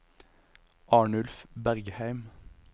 Arnulf Bergheim